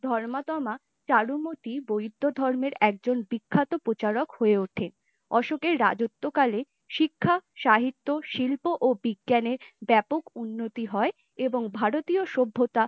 ধর্মাত্মা চারুমতি বৈদ্য ধর্মের একজন বিক্ষত প্রচারক হয়ে ওঠে । অশোকের রাজত্বকাল শিক্ষা, সাহিত্য, শিল্প, ও বিজ্ঞানের ব্যাপক উন্নতি হয় এবং ভারতীয় সভ্যতা